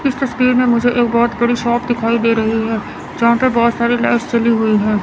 इस तस्वीर में मुझे एक बहोत बड़ी शॉप दिखाई दे रही है जहां पे बहोत सारी लाइट्स जली हुई है।